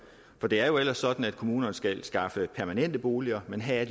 for det er ellers sådan at kommunerne skal skaffe permanente boliger men her er